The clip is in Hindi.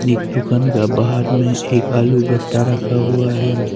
एक दुकान का बाहर में एक आलू बस्ता रखा हुआ है।